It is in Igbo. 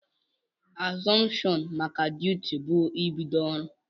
Azuption maka duti bu ibido ọrụ.